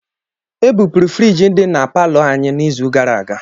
Ebupụrụ friji dị na palọ anyị n'izu gara aga